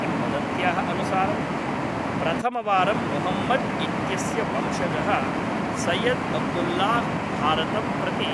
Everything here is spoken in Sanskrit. किंवदन्त्याः अनुसारं, प्रथमवारं मुहम्मद् इत्यस्य वंशजः सैयद् अब्दुल्लाह् भारतं प्रति